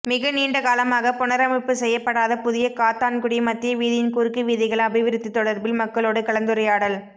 மிக நீண்டகாலமாக புனரமைப்பு செய்யப்படாத புதிய காத்தான்குடி மத்திய வீதியின் குறுக்கு வீதிகள் அபிவிருத்தி தொடர்பில் மக்களோடு கலந்துரையாடல்